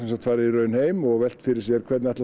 farið heim og velt fyrir sér hvernig